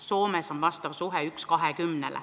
Soomes on see suhe 1 : 20.